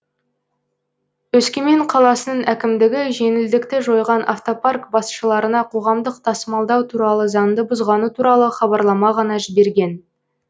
өскемен қаласының әкімдігі жеңілдікті жойған автопарк басшыларына қоғамдық тасымалдау туралы заңды бұзғаны туралы хабарлама ғана жіберген